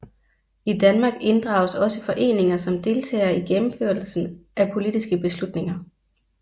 I Danmark inddrages også foreninger som deltagere i gennemførelsen af politiske beslutninger